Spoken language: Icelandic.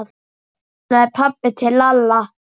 kallaði pabbi til Lalla.